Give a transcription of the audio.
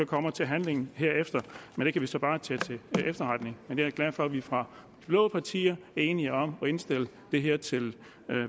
kommer til handling derefter og det kan vi så bare tage til efterretning men jeg er glad for at vi fra de blå partier er enige om at indstille det her til